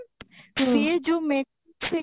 ସେ ଯୋଉ ଛି